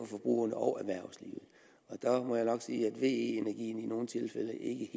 forbrugerne og erhvervslivet og der må jeg nok sige at ve energien i nogle tilfælde ikke